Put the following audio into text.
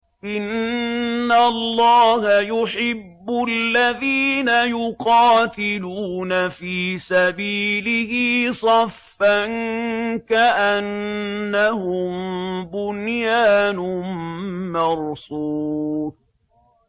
إِنَّ اللَّهَ يُحِبُّ الَّذِينَ يُقَاتِلُونَ فِي سَبِيلِهِ صَفًّا كَأَنَّهُم بُنْيَانٌ مَّرْصُوصٌ